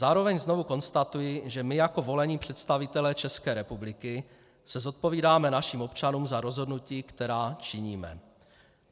Zároveň znovu konstatuji, že my jako volení představitelé České republiky se zodpovídáme našim občanům za rozhodnutí, která činíme.